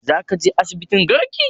Za ka je asibitin garki?